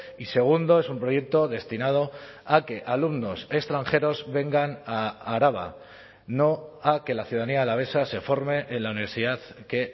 y segundo es un proyecto destinado a que alumnos extranjeros vengan a araba no a que la ciudadanía alavesa se forme en la universidad que